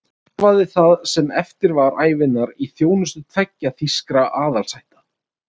Hann starfaði það sem eftir var ævinnar í þjónustu tveggja þýskra aðalsætta.